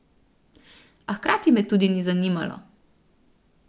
A hkrati me tudi ni zanimalo.